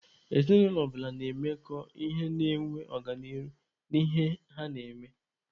Ezinụlọ ọbụla na-emekọ ihe na-enwe ọganihu n'ihe ha na-eme.